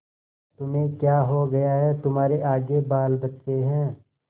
तुम्हें क्या हो गया है तुम्हारे आगे बालबच्चे हैं